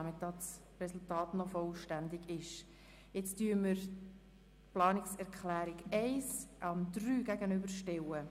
Wer den Änderungsantrag 1 annimmt, stimmt Ja, wer diesen ablehnt, stimmt Nein.